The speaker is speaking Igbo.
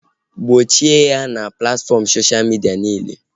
Gbochie ya na platfọm soshal midia niile!